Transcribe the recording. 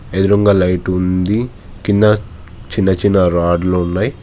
ఎదురుంగా లైటు ఉంది కింద చిన్న చిన్న రాడ్లు ఉన్నాయి.